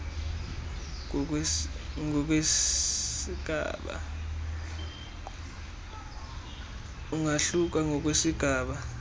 umenzakalo ungahluka ngokwesigaba